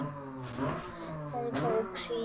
Hún tók því illa.